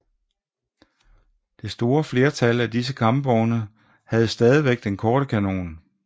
Det store flertal af disse kampvogne havde stadig den korte kanon